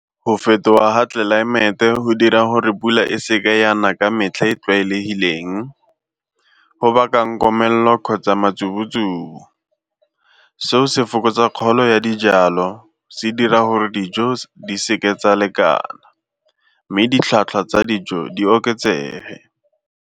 Go fetoga ga tlelaemete go dira gore pula e seka ya na ka metlha e tlwaelegileng, go bakang komelelo kgotsa . Seo se fokotsa kgolo ya dijalo, se dira gore dijo di seke tsa lekana mme ditlhwatlhwa tsa dijo di oketsege.